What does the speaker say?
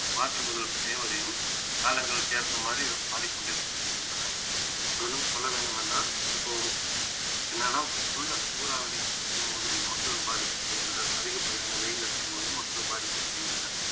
March முதல் May வரையும் காலங்களுக்கு ஏற்ப மாதிரி கொண்டிருக்கின்றன இன்னும் சொல்ல வேண்டும் என்றால் இப்போ என்னன்னா உள்ள சூறாவளி அடிக்கும் போதும் மக்கள் பாதிக்கப்படுகின்றனர் அதிகப்படியான வெயில் அடிக்கும் போதும் மக்கள் பாதிக்கப்படுகின்றனர்